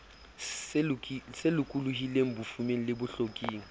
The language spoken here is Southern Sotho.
se lokolohileng bofumeng le bohloking